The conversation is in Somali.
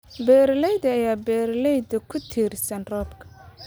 Beeralayda ayaa beeralayda ku tiirsan roobka.